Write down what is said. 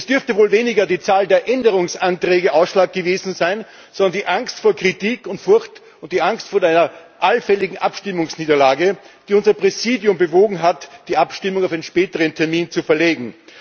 Es dürfte wohl weniger die Zahl der Änderungsanträge ausschlaggebend gewesen sein, sondern die Angst vor Kritik und Furcht und die Angst vor einer allfälligen Abstimmungsniederlage, die unser Präsidium bewogen hat, die Abstimmung auf einen späteren Termin zu verlegen.